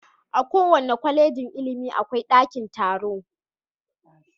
A kowace Kwallejin ilimi akwai daki taro.